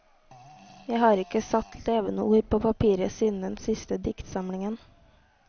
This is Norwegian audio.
Jeg har ikke satt levende ord på papiret siden den siste diktsamlingen.